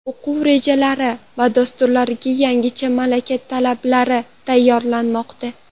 O‘quv rejalari va dasturlariga yangicha malaka talablari tayyorlanmoqda.